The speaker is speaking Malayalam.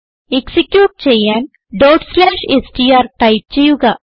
എക്സിക്യൂട്ട് ചെയ്യാൻ str ടൈപ്പ് ചെയ്യുക